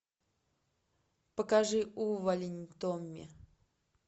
покажи увалень томми